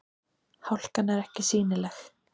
Hálkan er ekki sýnileg